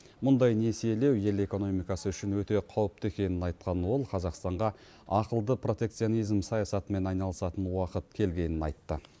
мұндай несиелеу ел экономикасы үшін өте қауіпті екенін айтқан ол қазақстанға ақылды протекционизм саясатымен айналысатын уақыт келгенін айтты